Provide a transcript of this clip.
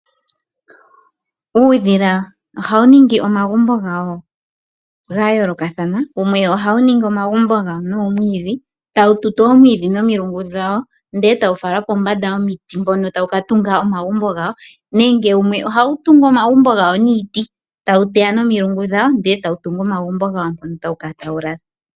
Uudhila ohawu ningi omagumbo gawo gaayolokathana. Wumwe ohawu longitha omwiidhi, tawu tutu omwiidhi nomilungu dhawo, e tawu fala kombanda yomiti, opo wu tunge omagumbo gawo. Wumwe wo ohawu longitha iiti, tawu teya nomilungu dhawo, e tawu tungu omagumbo gawo.